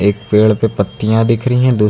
एक पेड़ पे पत्तियां दिख रही हैं दूसरी--